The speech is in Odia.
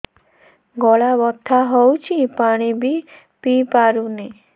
ଗଳା ବଥା ହଉଚି ପାଣି ବି ପିଇ ପାରୁନି